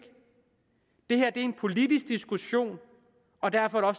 det her er en politisk diskussion og derfor er